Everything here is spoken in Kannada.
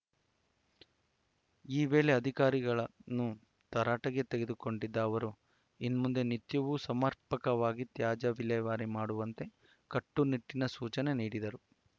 ಈ ವೇಳೆ ಅಧಿಕಾರಿಗಳನ್ನು ತರಾಟೆಗೆ ತೆಗೆದುಕೊಂಡಿದ್ದ ಅವರು ಇನ್ಮುಂದೆ ನಿತ್ಯವೂ ಸಮರ್ಪಕವಾಗಿ ತ್ಯಾಜ್ಯ ವಿಲೇವಾರಿ ಮಾಡುವಂತೆ ಕಟ್ಟುನಿಟ್ಟಿನ ಸೂಚನೆ ನೀಡಿದರು